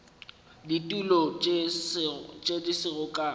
ditulo tše di sego ka